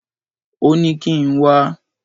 Ó ní kí n wá.